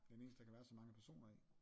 Den eneste der kan være så mange personer i